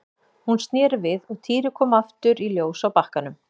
Hún sneri við og Týri kom aftur í ljós á bakkanum.